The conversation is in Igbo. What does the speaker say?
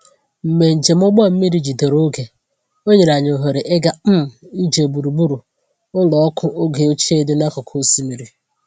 Mgbe njem ụgbọ mmiri jidere oge, o nyere anyị ohere ịga um ije gburugburu ụlọ ọkụ oge ochie dị n’akụkụ osimiri.